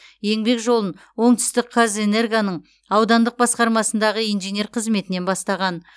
еңбек жолын оңтүстікқазэнергоның аудандық басқармасындағы инженер қызметінен бастаған